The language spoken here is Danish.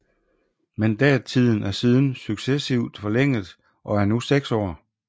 Mandattiden er siden successivt forlænget og er nu seks år